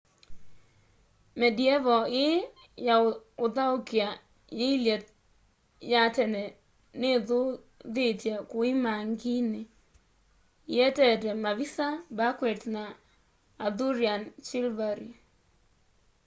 medieval ii ya uthaukia yiilye ya tene nithuthitye kuimangini ietete mavisa banquets na arthurian chivalry